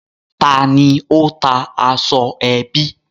Ta ni ó ta aṣọ ẹbí?